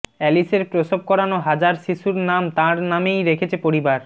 অ্যালিসের প্রসব করানো হাজার শিশুর নাম তাঁর নামেই রেখেছে পরিবার